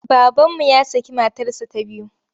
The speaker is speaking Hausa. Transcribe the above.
Babanmu ya şakı matarsa ya biyu.